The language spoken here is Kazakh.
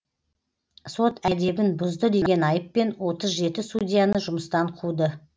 сот әдебін бұзды деген айыппен отыз жеті судьяны жүмыстан қуды